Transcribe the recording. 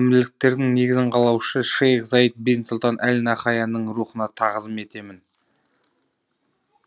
әмірліктердің негізін қалаушы шейх заид бен сұлтан әл нахаянның рухына тағзым етемін